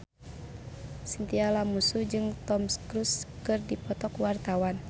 Chintya Lamusu jeung Tom Cruise keur dipoto ku wartawan